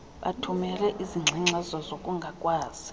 bathumele izingxengxezo zokungakwazi